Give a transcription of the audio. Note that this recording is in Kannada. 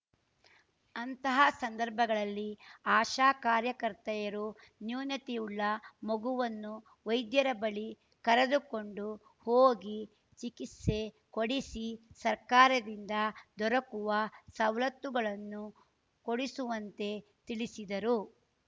ಅಂತಹ ಸಂದರ್ಭಗಳಲ್ಲಿ ಆಶಾ ಕಾರ್ಯಕರ್ತೆಯರು ನ್ಯೂನತೆಯುಳ್ಳ ಮಗುವನ್ನು ವೈದ್ಯರ ಬಳಿ ಕರೆದುಕೊಂಡು ಹೋಗಿ ಚಿಕಿತ್ಸೆ ಕೊಡಿಸಿ ಸರ್ಕಾರದಿಂದ ದೊರಕುವ ಸವಲತ್ತುಗಳನ್ನು ಕೊಡಿಸುವಂತೆ ತಿಳಿಸಿದರು